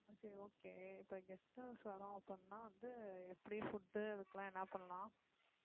okay okay இப்போ guest house வர்றோம் அப்படின்னா வந்து எப்படி food அதுக்கெல்லாம் என்ன பண்ணலாம்